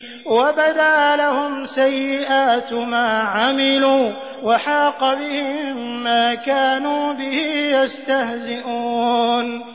وَبَدَا لَهُمْ سَيِّئَاتُ مَا عَمِلُوا وَحَاقَ بِهِم مَّا كَانُوا بِهِ يَسْتَهْزِئُونَ